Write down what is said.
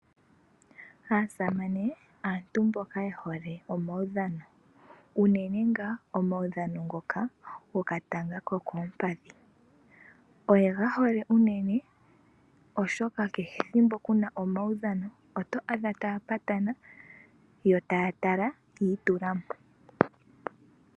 Aasamane aantu mboka yehole omawudhano unene ngaa omawudhano ngoka gokatanga kokoompadhi. Oyegahole unene oshoka kehe ethimbo kuna omawudhano, oto adha taapatana yo taatala yiitulamo.